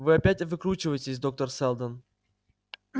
вы опять выкручиваетесь доктор сэлдон